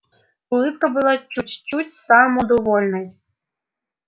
улыбка была чуть-чуть самодовольной